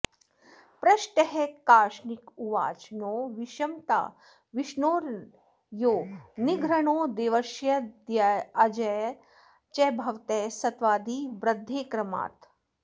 पृष्टः कार्ष्णिरुवाच नो विषमता विष्णोर्न यो निर्घृणो देवर्ष्यादिजयाजयौ च भवतः सत्त्वादिवृद्धेः क्रमात्